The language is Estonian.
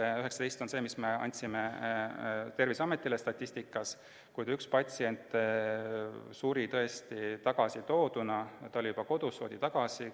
See 19 on see arv, mille me andsime Terviseametile statistikana, kuid üks patsient suri tõesti tagasitooduna, ta oli juba koju lastud, aga toodi tagasi.